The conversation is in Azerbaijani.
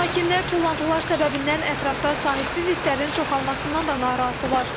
Sakinlər tullantılar səbəbindən ətrafda sahibsiz itlərin çoxalmasından da narahatdırlar.